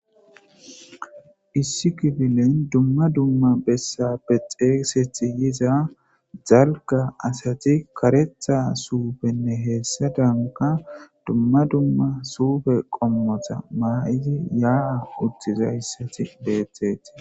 issi kifilen dumma dumma bessappe xeesethi yiza zalga asati karetha suufenne heessa danka dumma dumma suufe qommota maa7izi yaaa uttiza issati beethetii